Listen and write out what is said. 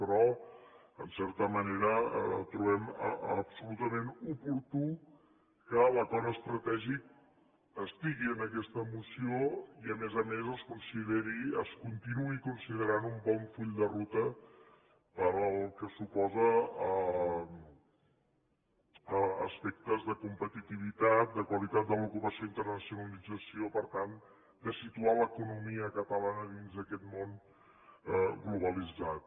però en certa manera trobem absolutament oportú que l’acord estratègic estigui en aquesta moció i a més a més es consideri es continuï considerant un bon full de ruta pel que suposa aspectes de competitivitat de qualitat de l’ocupació i d’internacionalització per tant de situar l’economia catalana dins d’aquest món globalitzat